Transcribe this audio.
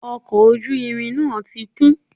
Ọkọ̀ ojú irin náà ti kún